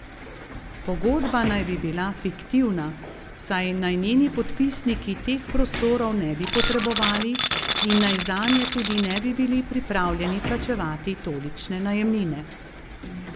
Pogodba naj bi bila fiktivna, saj naj njeni podpisniki teh prostorov ne bi potrebovali in naj zanje tudi ne bi bili pripravljeni plačevati tolikšne najemnine.